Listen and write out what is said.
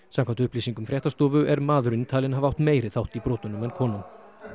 samkvæmt upplýsingum fréttastofu er maðurinn talinn hafa átt meiri þátt í brotunum en konan